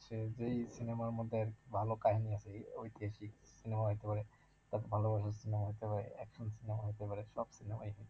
যেই cinema র মধ্যে আরকি ভালো কাহিনী আছে, ওই cinema হইতে পারে, তারপর ভালোবাসার cinema হইতে পারে, action cinema হইতে পারে সব cinema ই